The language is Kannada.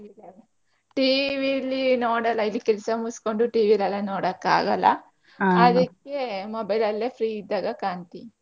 ಇಲ್ಲ TV ಲಿ ನೋಡಲ್ಲ ಇಲ್ಲಿ ಕೆಲ್ಸ ಮುಗುಸ್ಕೊಂಡು TV ಅಲ್ಲಿ ಎಲ್ಲಾ ನೋಡಕ್ ಆಗಲ್ಲ ಅದಿಕ್ಕೆ mobile ಅಲ್ಲೇ free ಇದ್ದಾಗ ಕಾಣ್ತೆ.